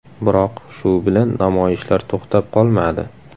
Biroq shu bilan namoyishlar to‘xtab qolmadi.